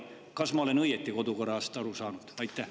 Kas ma olen kodukorrast õigesti aru saanud?